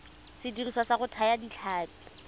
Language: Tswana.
sediriswa sa go thaya ditlhapi